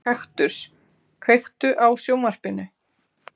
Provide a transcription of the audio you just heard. Kaktus, kveiktu á sjónvarpinu.